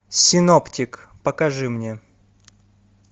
синоптик покажи мне